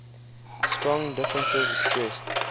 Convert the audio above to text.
strong differences expressed